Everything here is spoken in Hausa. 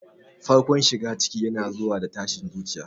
Farkon shigar ciki yana zuwa da tashin zuciya.